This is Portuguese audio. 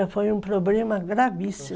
Olha, foi um problema gravíssimo.